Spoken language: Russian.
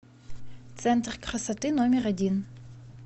центр красоты номер один